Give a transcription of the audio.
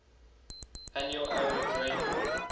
annual average rainfall